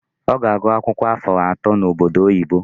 Ọ ga-agụ akwụkwọ afọ atọ n'obodo oyibo.